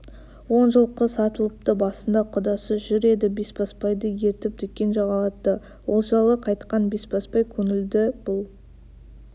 он жылқы сатылыпты басында құдасы жүр еді бесбасбайды ертіп дүкен жағалатты олжалы қайтқан бесбасбай көңілді бұл